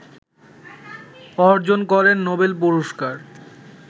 অর্জন করেন নোবেল পুরস্কার